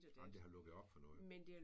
Ej men det har lukket op for noget